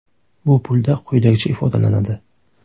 Bu pulda quyidagicha ifodalanadi.